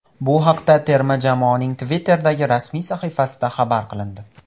Bu haqda terma jamoaning Twitter’dagi rasmiy sahifasida xabar qilindi.